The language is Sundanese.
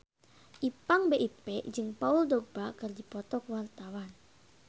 Ipank BIP jeung Paul Dogba keur dipoto ku wartawan